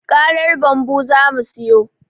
Karar bambu zamu siyo